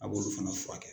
A b'olu fana furakɛ